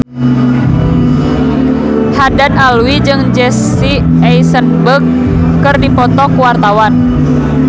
Haddad Alwi jeung Jesse Eisenberg keur dipoto ku wartawan